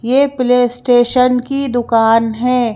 ये PlayStation की दुकान है।